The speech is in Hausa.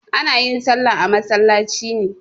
Ana yin salla a masallaci ne.